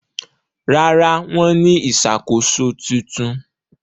Rárá, wọ́n ní ìṣàkóso tuntun?